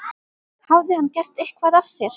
Hafði hann gert eitthvað af sér?